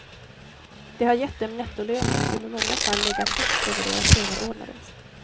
Det har gett dem nettolöner som i många fall legat högt över deras överordnades.